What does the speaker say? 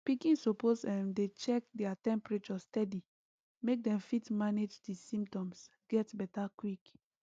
pikin suppose um dey check their temperature steady make dem fit manage di symptoms get beta quick